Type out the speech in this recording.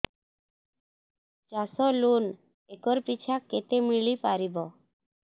ଚାଷ loan acre ପିଛା କେତେ ମିଳି ପାରିବ